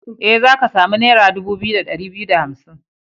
E, za ka samu naira dubu biyu da ɗari biyu da hamsin.